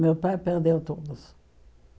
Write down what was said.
Meu pai perdeu todos.